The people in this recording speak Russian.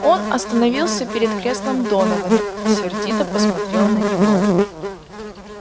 он остановился перед креслом донована и сердито посмотрел на него